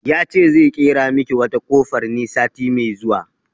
Ya ce zai ƙera miki wata kofar ne sati mai zuwa